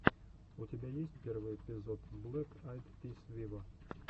у тебя есть первый эпизод блэк айд пис виво